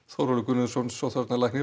Þórólfur Guðnason sóttvarnalæknir